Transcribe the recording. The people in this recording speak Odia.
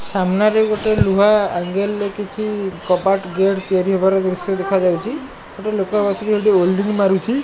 ସାମ୍ନାରେ ଗୋଟେ ଲୁହା ଅଙ୍ଗେଲ ରେ କିଛି କବାଟ ଗେଟ୍ ତିଆରି ହେବାର ଦୃଶ୍ୟ ଦେଖାଯାଉଛି ଗୋଟେ ଲୋକ ବସିକି ଓଲ୍ଡିଂ ମାରୁଛି।